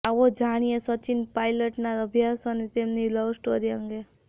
આવો જાણીએ સચિન પાયલટના અભ્યાસ અને તેમની લવસ્ટોરી અંગે